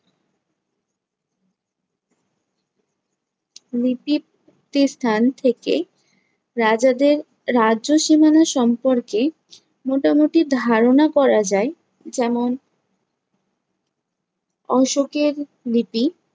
লিপি প্রাপ্তিস্থান থেকে রাজাদের রাজ্য সীমানা সম্পর্কে মোটামুটি ধারণা করা যায় যেমন অশোকের লিপি